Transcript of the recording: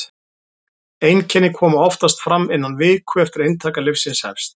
einkenni koma oftast fram innan viku eftir að inntaka lyfsins hefst